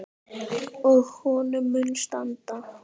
Og honum mun standa.